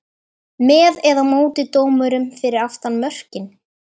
með eða móti dómurum fyrir aftan mörkin?